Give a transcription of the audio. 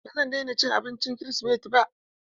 Ba zan daina cin abincin kirisimeti ba.